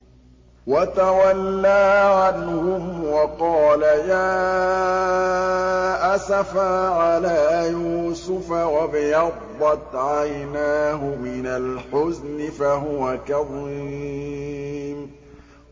وَتَوَلَّىٰ عَنْهُمْ وَقَالَ يَا أَسَفَىٰ عَلَىٰ يُوسُفَ وَابْيَضَّتْ عَيْنَاهُ مِنَ الْحُزْنِ فَهُوَ كَظِيمٌ